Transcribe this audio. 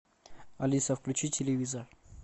алиса включи телевизор